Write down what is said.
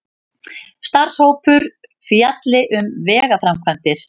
Starfshópur fjalli um vegaframkvæmdir